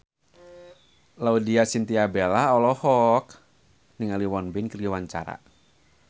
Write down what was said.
Laudya Chintya Bella olohok ningali Won Bin keur diwawancara